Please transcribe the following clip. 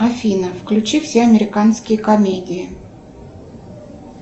афина включи все американские комедии